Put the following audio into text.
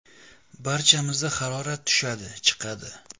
Barchamizda harorat tushadi, chiqadi.